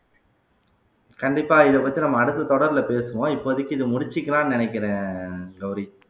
கண்டிப்பா இதை பத்தி நம்ம அடுத்த தொடர்ல பேசுவோம் இப்போதைக்கு இத முடிச்சுக்கலாம்னு நினைக்கிறேன் கௌரி